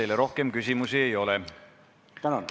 Teile rohkem küsimusi ei ole.